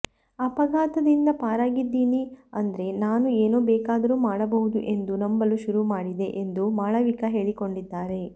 ಅಪಘಾತದಿಂದ ಪಾರಾಗಿದ್ದೀನಿ ಅಂದ್ರೆ ನಾನು ಏನು ಬೇಕಾದರೂ ಮಾಡಬಹುದು ಎಂದು ನಂಬಲು ಶುರು ಮಾಡಿದೆ ಎಂದು ಮಾಳವಿಕಾ ಹೇಳಿಕೊಂಡಿದ್ದಾರೆ